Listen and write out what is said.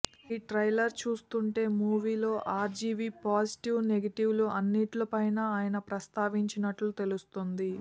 ఈ ట్రైలర్ చూస్తుంటే మూవీలో ఆర్జీవీ పాజిటివ్ నెగెటివ్ లు అన్నింటిపైనా ఆయన ప్రస్తావించినట్టు తెలుస్తోంది